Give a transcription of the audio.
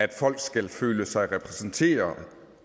at folk skal føle sig repræsenteret